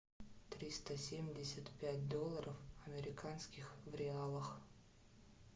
триста семьдесят пять долларов американских в реалах